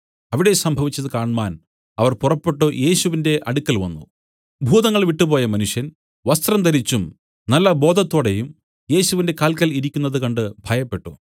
അവിടെ സംഭവിച്ചത് കാണ്മാൻ അവർ പുറപ്പെട്ടു യേശുവിന്റെ അടുക്കൽ വന്നു ഭൂതങ്ങൾ വിട്ടുപോയ മനുഷ്യൻ വസ്ത്രം ധരിച്ചും നല്ല ബോധത്തോടെയും യേശുവിന്റെ കാല്ക്കൽ ഇരിക്കുന്നത് കണ്ട് ഭയപ്പെട്ടു